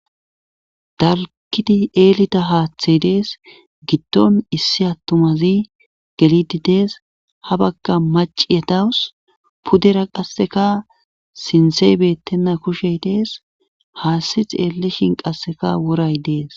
dalgidi eelida haaththey dees giddon issi attumazi gelidi dees ha bagga maciyetawus pudera qasseka sintsey bettenna kushey dees haassi xeeleshin qasseka woray dees